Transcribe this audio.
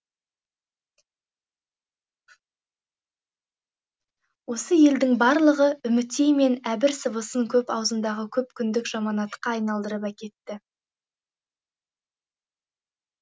осы елдің барлығы үмітей мен әмір сыбысын көп аузындағы көп күндік жаманатқа айналдырып әкетті